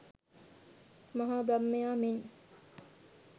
මහා බ්‍රහ්මයා මෙන්